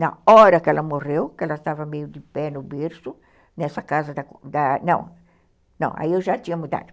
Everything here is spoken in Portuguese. Na hora que ela morreu, que ela estava meio de pé no berço, nessa casa da... Não, não, aí eu já tinha mudado.